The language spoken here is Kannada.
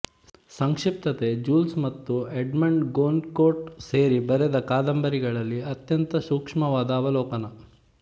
ಸಂಕ್ಷಿಪ್ತತೆ ಜೂಲ್ಸ್ ಮತ್ತು ಎಡ್ಮಂಡ್ ಗೊನ್ಕೋರ್ಟ ಸೇರಿ ಬರೆದ ಕಾದಂಬರಿಗಳಲ್ಲಿ ಅತ್ಯಂತ ಸೂಕ್ಷ್ಮವಾದ ಅವಲೋಕನ